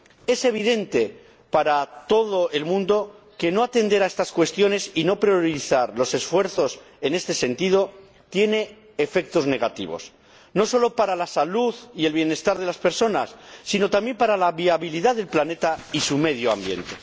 Es evidente para todo el mundo que no atender a estas cuestiones y no priorizar los esfuerzos en este sentido tiene efectos negativos, no solo para la salud y el bienestar de las personas, sino también para la viabilidad del planeta y su medio ambiente.